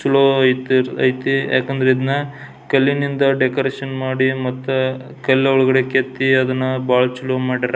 ಚಲೋ ಐತಿ ಐತ್ ಯಾಕಂದ್ರ ಇದನ್ನ ಕಲ್ಲಿನಿಂದ ಡೆಕೋರೇಷನ್ ಮಾಡಿ ಮತ್ತ ಕಲ್ಲ್ ಒಳಗಡೆ ಕೆತ್ತಿ ಅದನ್ನ ಬಹಳ ಚಲೋ ಮಾಡ್ಯಾರ.